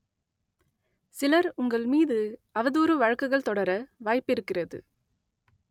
சிலர் உங்கள் மீது அவதூறு வழக்குகள் தொடர வாய்ப்பிருக்கிறது